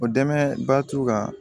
O dɛmɛba t'u kan